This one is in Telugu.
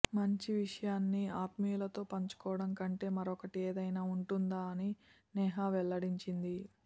మంచి విషయాన్ని ఆత్మీయులతో పంచుకోవడం కంటే మరోకటి ఏదైనా ఉంటుందా అని నేహా వెల్లడించింది